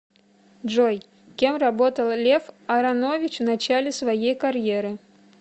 джой кем работал лев аронович в начале своей карьеры